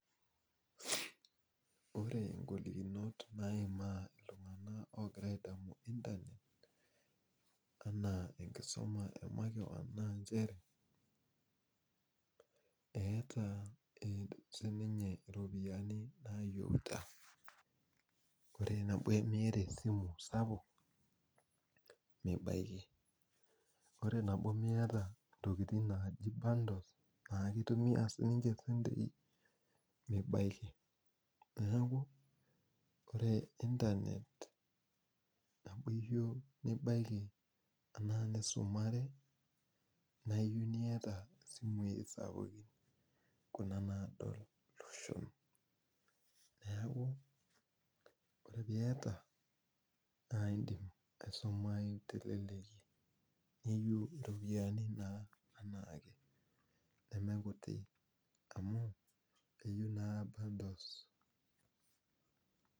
Ore igolikinot naimaa iltung'anak ogira adamu internet, anaa enkisuma e makeon naa njere, eeta sininye ropiyiani nayieuta, ore nabo miata esimu sapuk mibaiki, ore nabo miata ntokiting naji bundles na kitumia sininche sentei, mibaiki. Neeku ore internet neku eyiu nibaiki enaa nisumare, naayieu niata simui sapukin kuna nadol loshon. Neeku ore piata, na idim aisumayu teleleki. Niyieu iropiyiani naa anaake. Nemekuti amu keyieu naa bundles.